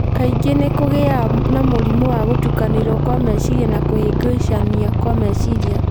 Kaingĩ nĩ kũgĩaga na mũrimũ wa gũtukanĩrwo kwa meciria na kũhĩngĩcania kwa meciria.